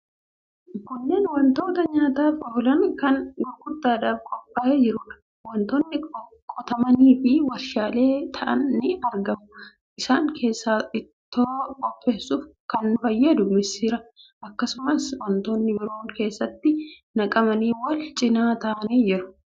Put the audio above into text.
Kunneen wantoota nyaataaf oolan kan gurgurtaadhaaf qophaa'ee jiruudha. Wantoota qotamanii fi warshaatti qophaa'an ni argamu. Isaan keessaa ittoo qopheessuuf kan fayyadu misirri; akkasumas wantootni biroon keeshaatti naqamanii wal cina kaa'amanii jiru.